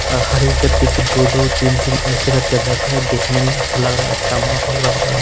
और हर एक गद्दे पे दो-दो तीन-तीन ऐसे करके बैठे हैं देखने में अच्छा लग रहा है अच्छा माहौल लग रहा --